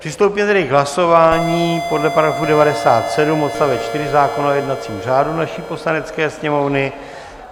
Přistoupíme tedy k hlasování podle § 97 odst. 4 zákona o jednacím řádu naší Poslanecké sněmovny.